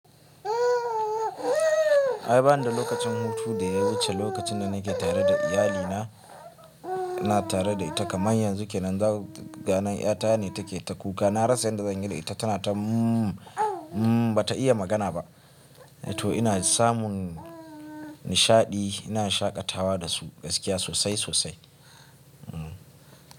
Ay banida lokacin hutu da ya wuce lokacin da nake tare da iyali na, ina tare da ita kaman yanzu kenan, ga nan ita ne take ta kuka. Na rasa yanda zan yi da ita tana ta mmm, mmm bata iya magana ba. To ina samun nishaɗi, ina shaƙatawa da su gaskiya sosai sosai. Hmm.